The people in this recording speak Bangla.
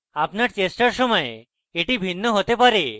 আপনার চেষ্টার সময় এটি ভিন্ন হতে পারে